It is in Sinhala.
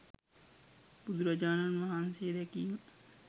බුදුරජාණන් වහන්සේ දැකීම